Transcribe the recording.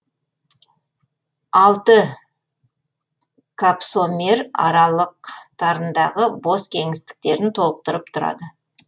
алты капсомер аралықтарындағы бос кеңістіктерін толықтырып тұрады